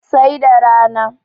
sai da rana